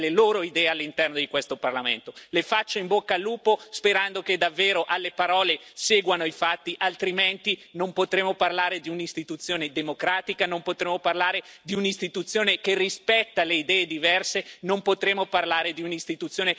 Le faccio in bocca al lupo, sperando che davvero alle parole seguano i fatti altrimenti non potremo parlare di un'Istituzione democratica, non potremo parlare di un'Istituzione che rispetta le idee diverse e non potremo parlare di un'Istituzione che è vicina al cambiamento che i cittadini europei ci hanno chiesto.